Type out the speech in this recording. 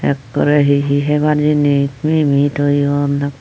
akkore hehe hebar jinis mimi toyon.